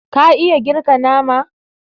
ka iya girka nama